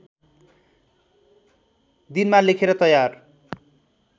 दिनमा लेखेर तयार